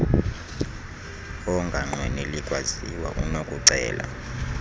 onganqweneli kwaziwa unokucela